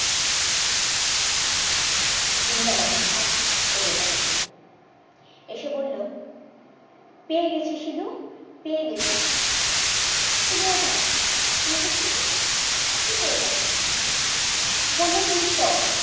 দিন দার আবির্ভাব ওদের বাড়িতে এসে বললো পেয়েগেছি শিলু পেয়ে গেছি শিলু অবাক পেয়েগেছি মানে কি পেয়ে গেছো বললো তুই চ